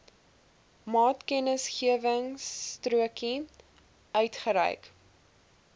maatkennisgewingstrokie uitgereik